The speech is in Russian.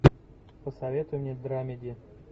посоветуй мне драмеди